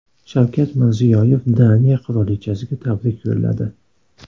Shavkat Mirziyoyev Daniya qirolichasiga tabrik yo‘lladi.